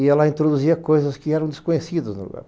e ela introduzia coisas que eram desconhecidas no lugar.